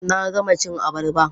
Na gama cin abarba.